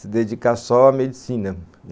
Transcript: se dedicar só à medicina.